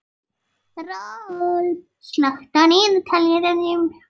Rolf, slökktu á niðurteljaranum.